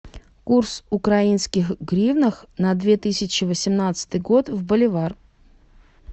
курс украинских гривнах на две тысячи восемнадцатый год в боливар